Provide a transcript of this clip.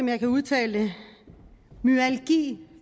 jeg kan udtale det myalgi